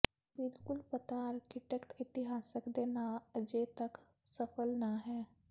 ਬਿਲਕੁਲ ਪਤਾ ਆਰਕੀਟੈਕਟ ਇਤਿਹਾਸਕਾਰ ਦੇ ਨਾਮ ਅਜੇ ਤੱਕ ਸਫ਼ਲ ਨਾ ਹੈ